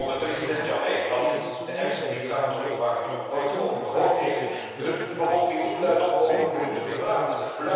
Onder president Jammeh, allicht de ergste dictator waar u nog nooit over gehoord heeft, durft de bevolking niet luidop over politiek te praten.